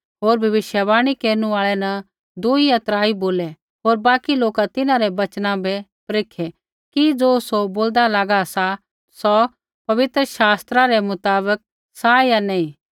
होर भविष्यवाणी केरनु आल़ै न दुई या त्राई बोलै होर बाकी लोका तिन्हां रै वचना बै परेखै कि ज़ो सौ बोलदा लागा सा सौ पवित्र शास्त्रा रै मुताबक सा या नैंई